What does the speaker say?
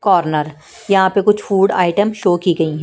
Corner यहां पे कुछ फूड आइटम शो की गई है।